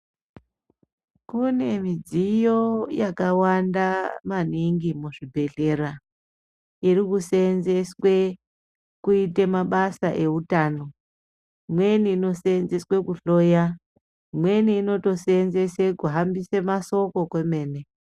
Kune midziyo yakawanda maningi muzvibhedhlera iri kuseenzeswe kuite mabasa ehutano imweni inoseenzeswe kuhloya imweni inotoseenzeswe kuhambise masoko kwemene